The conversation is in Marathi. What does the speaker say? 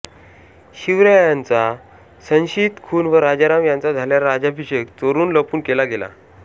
शिवरायांचा संशियित खून व राजाराम यांचा झालेला राज्याभिषेक चोरून लपून केला गेला